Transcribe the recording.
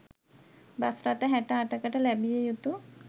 bus රථ හැට අටකට ලැබිය යුතු